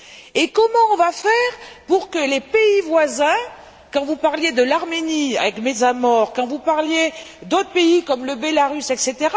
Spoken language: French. Et comment allons nous faire pour que les pays voisins quand vous parliez de l'Arménie, avec Metsamor, quand vous parliez d'autres pays, comme le Bélarus, etc.